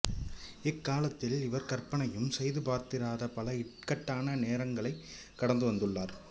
இக்காலத்தில் இவர் கற்பனையும் செய்து பார்த்திராத பல இக்கட்டான நேரங்களைக் கடந்து வந்துள்ளார்